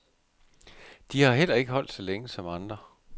De har ikke holdt så længe som andre.